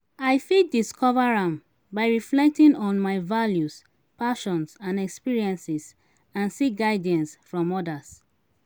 i fit discover am by reflecting on my values passions and experiences and seek guidance from odas.